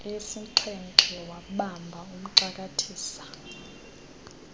yesixhenxe wambamba emxakathisa